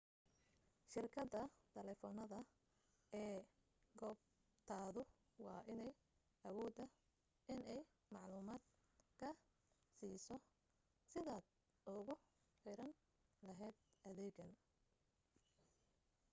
shirkada taleefanada ee goobtaadu waa inay awoodaa inay macluumaad kaa siiso sidaad ugu xiran lahayd adeegan